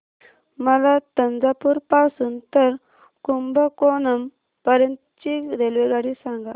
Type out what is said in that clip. मला तंजावुर पासून तर कुंभकोणम पर्यंत ची रेल्वेगाडी सांगा